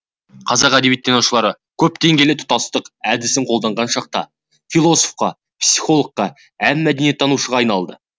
қазақ әдебиеттанушылары көпдеңгейлі тұтастық әдісін қолданған шақта философқа психологқа әм мәдениеттанушыға айналады